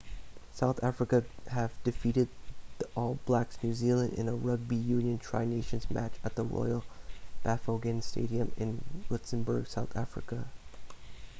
south africa have defeated the all blacks new zealand in a rugby union tri nations match at the royal bafokeng stadium in rustenburg south africa